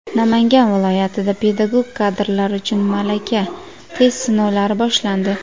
Namangan viloyatida pedagog kadrlar uchun malaka (test) sinovlari boshlandi.